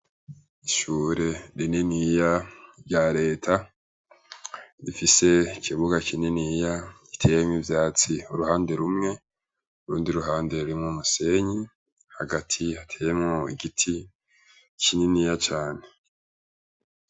Ishure rininiya rya reta rifise ikibuga kininiya giteyemwo ivyatsi uruhande rumwe, urundi ruhande rurimwo umusenyi, hagati hateyemwo igiti kininiya cane.